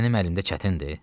Mənim əlimdə çətindir?